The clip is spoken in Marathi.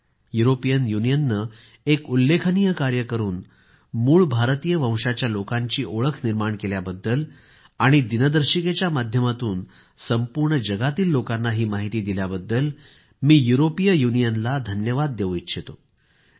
युरोपियन युनियनने एक उल्लेखनीय कार्य करून मूळ भारतीय वंशाच्या लोकांची ओळख निर्माण केल्याबद्दल आणि दिनदर्शिकेच्या माध्यमातून संपूर्ण दुनियेतील लोकांना ही माहिती दिल्याबद्दल मी युरोपीय युनियनला धन्यवाद देवू इच्छितो